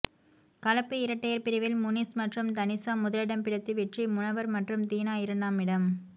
கலப்பு இரட்டையர் பிரிவில் முனிஸ் மற்றும் தனிஷா முதலிடம் பிடித்து வெற்றி முனவர் மற்றும் தீனா இரண்டாமிடம்